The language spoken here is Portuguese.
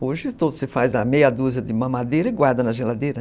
Hoje você faz meia dúzia de mamadeira e guarda na geladeira.